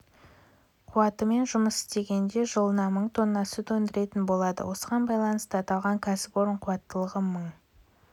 қуатымен жұмыс істегенде жылына мың тонна сүт өндіретін болады осыған байланысты аталған кәсіпорын қуаттылығы мың